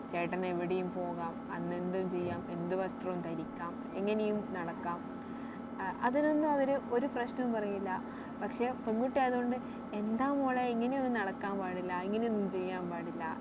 ചേട്ടന് എവിടെയും പോകാം അന്ന് എന്തും ചെയ്യാം എന്ത് വസ്ത്രവും ധരിക്കാം എങ്ങനെയും നടക്കാം ഏർ അതിനൊന്നും അവര് ഒരു പ്രശ്നവും പറയില്ല പക്ഷെ പെൺകുട്ടി ആയത് കൊണ്ട് എന്താ മോളെ ഇങ്ങനെ ഒന്നും നടക്കാൻ പാടില്ല ഇങ്ങനെ ഒന്നും ചെയ്യാൻ പാടില്ല